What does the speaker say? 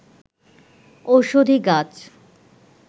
ঔষধি গাছ